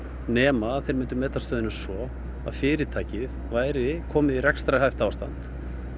nema þeir mundu meta stöðuna svo að fyrirtækið væri komið í rekstrarhæft ástand